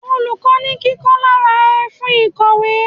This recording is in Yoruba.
Olùkọ́ ni kí Kọ́lá ra ẹfun ìkọ̀wé.